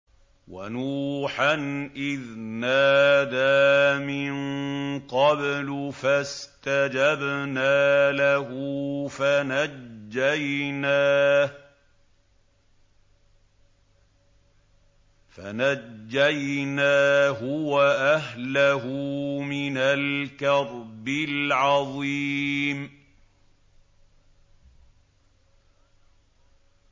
وَنُوحًا إِذْ نَادَىٰ مِن قَبْلُ فَاسْتَجَبْنَا لَهُ فَنَجَّيْنَاهُ وَأَهْلَهُ مِنَ الْكَرْبِ الْعَظِيمِ